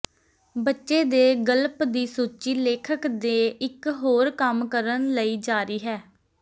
ਬੱਚੇ ਦੇ ਗਲਪ ਦੀ ਸੂਚੀ ਲੇਖਕ ਦੇ ਇਕ ਹੋਰ ਕੰਮ ਕਰਨ ਲਈ ਜਾਰੀ ਹੈ